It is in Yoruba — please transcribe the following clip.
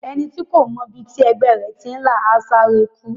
Ẹni tí kò mọ ibi tí ẹgbẹ́ ẹ̀ ti là, á sáré kú.